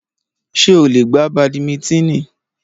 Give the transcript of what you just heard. Ṣé o lè gbá badimítínì?